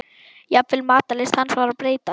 Jafnvel matarlyst hans var að breytast.